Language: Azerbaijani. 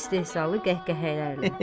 İstehzalı qəhqəhələrlə.